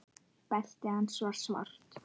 Beltið hans var svart.